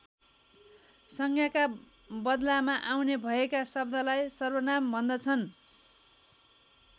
संज्ञाका बदलामा आउने भएका शब्दलाई सर्वनाम भन्दछन्।